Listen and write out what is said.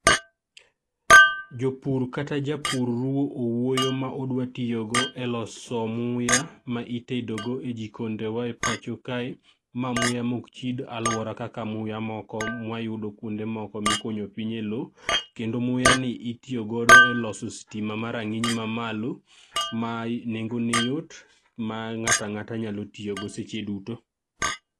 Japur kata jopur ruwo uwuoyo modwa tiyogo e loso muya ma itego e jikondewa e pacho kae. Mae muya mok chid alwora kaka muya moko mwa yudo kuonde moko mikunyo piny e lo, kendo muyani itiyogo e loso stima ma rang'iny ma malo ma nengone yot ma ng'at ang'ata nyalo tiyogo seche duto.